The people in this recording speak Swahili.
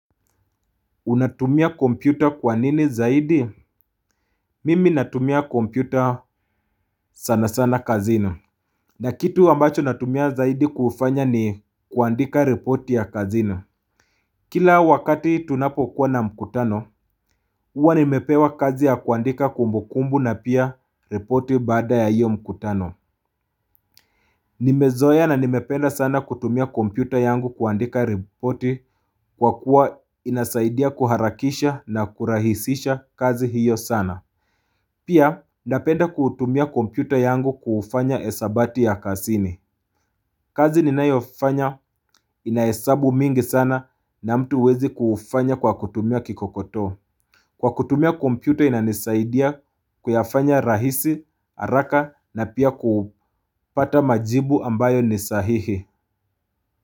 Unatumia kompyuta kwa nini zaidi? Mimi natumia kompyuta sana sana kazini. Na kitu ambacho natumia zaidi kufanya ni kuandika ripoti ya kazini. Kila wakati tunapo kuwa na mkutano, uwa nimepewa kazi ya kuandika kumbukumbu na pia ripoti baada ya hiyo mkutano. Nimezoeya na nimependa sana kutumia kompyuta yangu kuandika ripoti kwa kuwa inasaidia kuharakisha na kurahisisha kazi hiyo sana. Pia napenda kutumia kompyuta yangu kufanya esabati ya kasini kazi ninayofanya inaesabu mingi sana na mtu wezi kufanya kwa kutumia kikokoto Kwa kutumia kompyuta inanisaidia kuyafanya rahisi, haraka na pia kupata majibu ambayo ni sahihi.